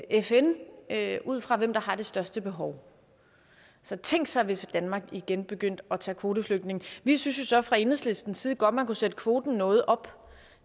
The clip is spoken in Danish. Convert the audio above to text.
fn fn ud fra hvem der har det største behov så tænk sig hvis danmark igen begyndte at tage kvoteflygtninge vi synes jo så fra enhedslistens side godt man kunne sætte kvoten noget op